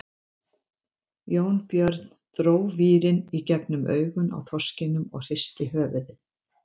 Jónbjörn dró vírinn í gegnum augun á þorskinum og hristi höfuðið.